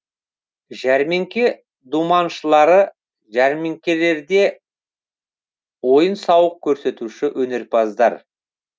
жәрмеңке думаншылары жәрмеңкелерде ойын сауық көрсетуші өнерпаздар